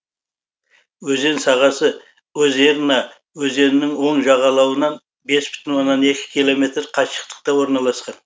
өзен сағасы озерна өзенінің оң жағалауынан бес бүтін оннан екі километр қашықтықта орналасқан